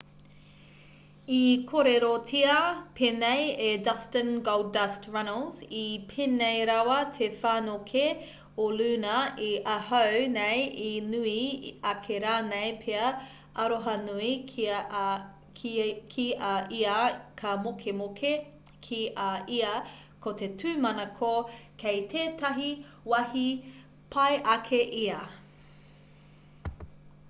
i kōrerotia pēnei e dustin goldust runnels i pēnei rawa te whanokē o luna i ahau nei...i nui ake rānei pea...aroha nui ki a ia ka mokemoke ki a ia...ko te tūmanako kei tētahi wāhi pai ake ia.